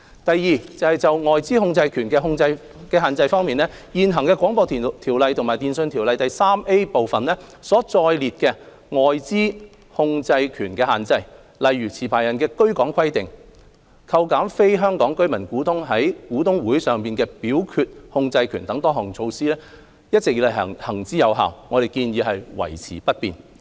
第二，就"外資控制權的限制"方面，現行《廣播條例》和《電訊條例》第 3A 部所載列的外資控制權限制，例如持牌人的居港規定、扣減非香港居民股東在股東大會上的表決控制權等多項措施，一直以來行之有效，我們建議維持不變。